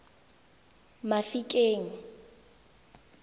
mafikeng